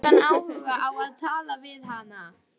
Eða hafði hann engan áhuga á að tala við hana?